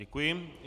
Děkuji.